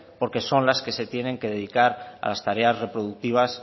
porque son las que se tienen que dedicar a las tareas reproductivas